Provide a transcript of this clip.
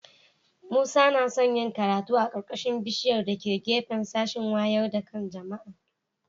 Musa yana son yin karatu a ƙarƙashin bishiƴar da ke gefen sashin waƴar da kan jama'a